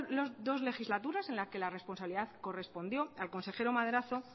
las dos legislaturas en la que la responsabilidad correspondió al consejero madrazo